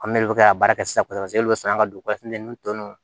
An bɛ ka baara kɛ sisan paseke e bɛ sɔrɔ an ka don